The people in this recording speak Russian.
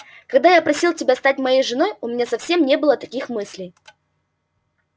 когда я просил тебя стать моей женой у меня совсем не было таких мыслей